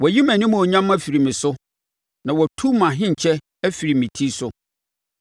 Wayi mʼanimuonyam afiri me so na watu mʼahenkyɛ afiri me ti so.